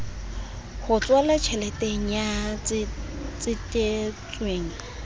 h tswala tjheleteng ya tsetetsweng